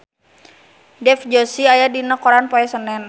Dev Joshi aya dina koran poe Senen